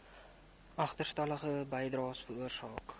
agterstallige bydraes veroorsaak